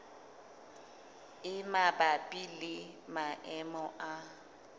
e mabapi le maemo a